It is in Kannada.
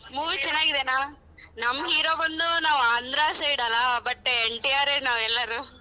Movie ಚೆನ್ನಾಗಿದೆನ ನಮ್ hero ಬಂದು ನಾವ್ Andhra side ಅಲ್ಲ but NTR ಯೇ ನಾವೆಲ್ಲರೂ.